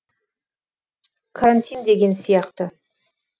карантин деген сияқты